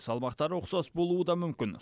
салмақтары ұқсас болуы да мүмкін